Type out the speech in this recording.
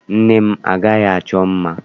Nne m anaghị achọ mma.